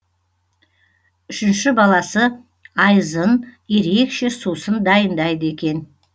үшінші баласы айзын ерекше сусын дайындайды екен